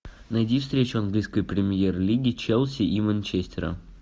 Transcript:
найди встречу английской премьер лиги челси и манчестера